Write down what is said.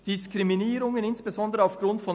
Diskriminierungen, insbesondere aufgrund […